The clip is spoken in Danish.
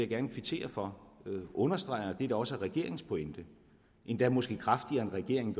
gerne kvittere for understreget det der også er regeringens pointe endda måske kraftigere end regeringen